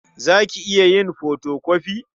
Za ka iya yin fotokofi?